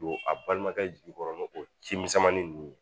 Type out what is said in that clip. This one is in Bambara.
Don a balimakɛ jigi kɔrɔ ni o cimisɛnmanin ninnu ye